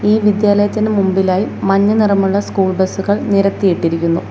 ഈ വിദ്യാലയത്തിന് മുമ്പിലായി മഞ്ഞ നിറമുള്ള സ്കൂൾ ബസ്സുകൾ നിരത്തിയിട്ടിരിക്കുന്നു.